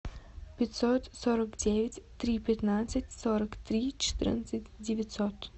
пятьсот сорок девять три пятнадцать сорок три четырнадцать девятьсот